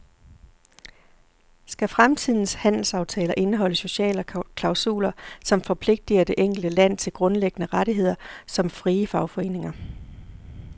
Skal fremtidens handelsaftaler indeholde sociale klausuler, som forpligter det enkelte land til grundlæggende rettigheder som frie fagforeninger?